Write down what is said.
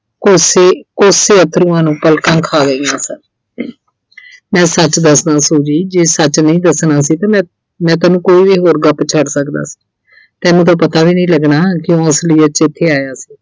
ਕੋਸੇ, ਕੋਸੇ ਅੱਥਰੂਆਂ ਨੂੰ ਪਲਕਾਂ ਖਾ ਰਹੀਆਂ ਸਨ, ਮੈਂ ਸੱਚ ਦੱਸਦਾ Suji, ਜੇ ਸੱਚ ਨਹੀਂ ਦੱਸਣਾ ਸੀ ਤੇ ਮੈਂ, ਮੈਂ ਤੈਨੂੰ ਕੋਈ ਵੀ ਹੋਰ ਗੱਪ ਛੱਡ ਸਕਦਾ ਸੀ ਤੈਨੂੰ ਤਾਂ ਪਤਾ ਵੀ ਨੀ ਲੱਗਣਾ ਸੀ ਕਿ ਕਿਉਂ ਅਸਲੀਅਤ ਚ ਇੱਥੇ ਆਇਆ ਸੀ